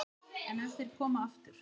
En ef þeir koma aftur?